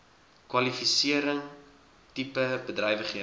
kwalifisering tipe bedrywighede